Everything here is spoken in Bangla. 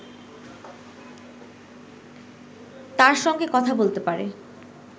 তার সঙ্গে কথা বলতে পারে